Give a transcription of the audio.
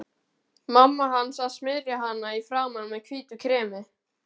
Mamma hans að smyrja hana í framan með hvítu kremi.